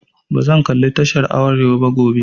Bazan kalli tashar arewa gobe ba.